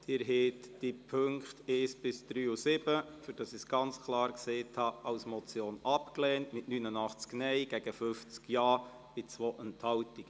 Sie haben die Punkte 1–3 und 7, damit ich es ganz klar gesagt habe, als Motion abgelehnt mit 89 Nein- zu 50 Ja-Stimmen bei 2 Enthaltungen.